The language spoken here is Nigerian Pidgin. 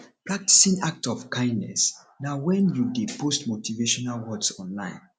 practing act of kindness na when you de post motivational words online